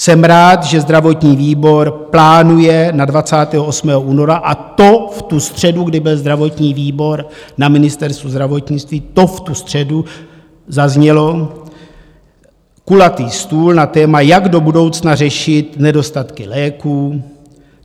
Jsem rád, že zdravotní výbor plánuje na 28. února, a to v tu středu, kdy byl zdravotní výbor na Ministerstvu zdravotnictví, to v tu středu zaznělo, kulatý stůl na téma, jak do budoucna řešit nedostatky léků.